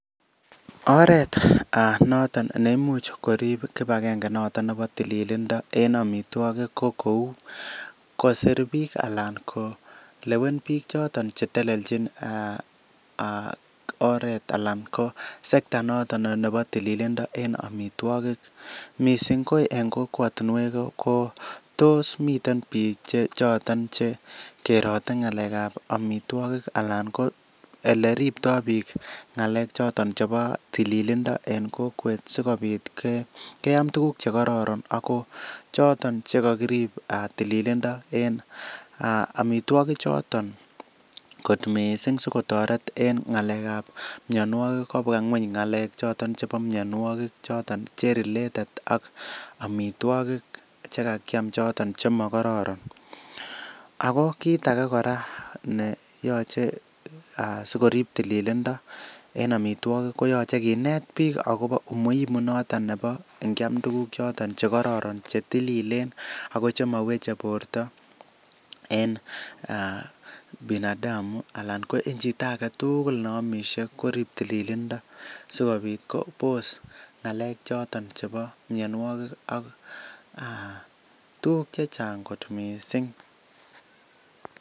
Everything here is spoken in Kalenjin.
Oret noton neimuch korib kibagange noton nebo tililindo en amitwogik ko kou koser biik ana ko kolewen biik choton chetelelnjin oret ana ko sector noton nebo tililindo en amitwogik missing ko en kokwotinwek ko tos miten biik choton che kerote ng'alek ab amitwogik ana ko eleriptoo biik ng'alek choton chebo tililindo en kokwet sikobit keam tuguk chekororon ako choton chekokirib tililindo en amitwogik choton kot missing sikotoret en ng'alek ab mionwogik kobwa ng'weny ng'alek ab amitwogik choton che related ak amitwogik chekakiam choton chemokororon ako kit ake kora neyoche sikorib tililindo en amitwogik koyoche kinet biik akobo umuhimu noton nebo ngiam tuguk choton chekororon chetililen ako chemoweche borto en binadamu ana ko chito aketugul noton neomisye korib tililindo sikobit kobos ng'alek choton chebo mionwogik ak tuguk chechang kot missing